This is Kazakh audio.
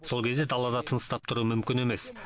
сол кезде далада тыныстап тұру мүмкін емес